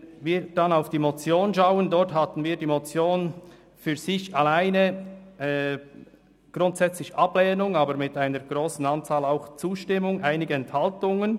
Die Motion für sich betrachtet lehnen wir grundsätzlich ab, aber mit einer grossen Anzahl Zustimmungen sowie einigen Enthaltungen.